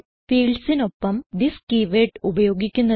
fieldsനോടൊപ്പം this keyword ഉപയോഗിക്കുന്നത്